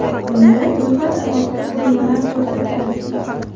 Unda ro‘yxat asosida qurilmalar ko‘rsatiladi.